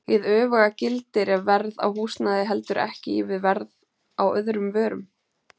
Hið öfuga gildir ef verð á húsnæði heldur ekki í við verð á öðrum vörum.